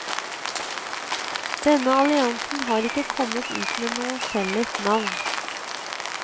Denne alliansen har ikke kommet ut med noe felles navn.